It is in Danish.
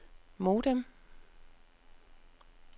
modem